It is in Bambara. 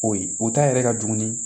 O ye o ta yɛrɛ ka dumuni